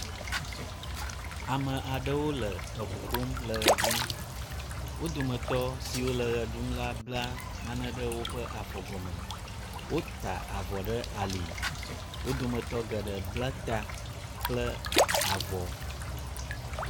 Ame aɖewo le ŋu ƒom le ʋe ɖum, wo dometɔ siwo le ʋe ɖum la bla nane ɖe woƒe afɔ gɔme. Wota avɔ ɖe ali. Wo dometɔ geɖe bla ta kple avɔ.